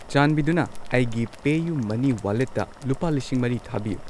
ꯆꯥꯟꯕꯤꯗꯨꯅ ꯑꯩꯒꯤ ꯄꯦꯌꯨ ꯃꯅꯤ ꯋꯥꯂꯦꯠꯇ ꯂꯨꯄꯥ ꯂꯤꯁꯤꯡ ꯃꯔꯤ ꯊꯥꯕꯤꯌꯨ